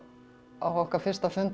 okkar fyrsta fund